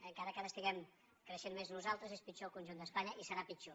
encara que ara estiguem creixent més nosaltres és pitjor al conjunt d’espanya i serà pitjor